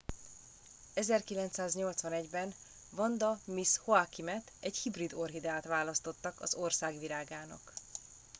1981 ben vanda miss joaquimet egy hibrid orchideát választottak az ország virágának